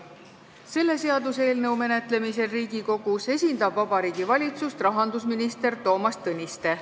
Selle seaduseelnõu menetlemisel Riigikogus esindab Vabariigi Valitsust rahandusminister Toomas Tõniste.